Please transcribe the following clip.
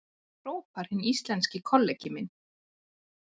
hrópar hinn íslenski kollegi minn.